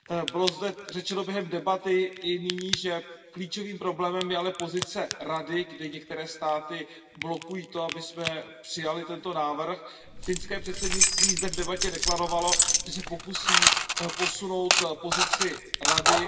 Bylo zde řečeno během debaty i nyní, že klíčovým problémem je ale pozice Rady, kde některé státy blokují to, abychom přijali tento návrh. Finské předsednictví zde v debatě deklarovalo, že se pokusí posunout pozici Rady.